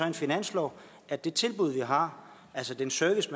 en finanslov at det tilbud vi har altså den service